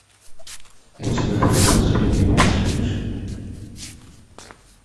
у тебя найдется любимец женщин